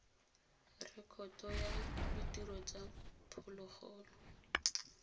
rekoto ya ditiro tsa phologolo